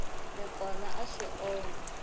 n kona a swi onhi